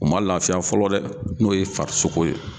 U man laafiya fɔlɔ dɛ n'o ye farisoko ye.